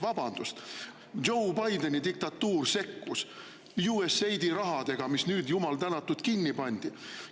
Vabandust, Joe Bideni diktatuur sekkus USAID‑i rahadega, mis nüüd, jumal tänatud, kinni pandi.